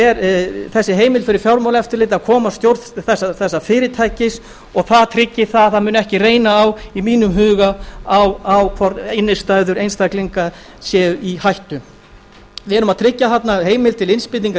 er þessi heimild fyrir fjármálaeftirlitið að koma að stjórn þess fyrirtækis og það tryggir í mínum huga að það muni ekki reyna á hvort innistæður einstaklinga séu í hættu við erum að tryggja þarna heimild til innspýtingar í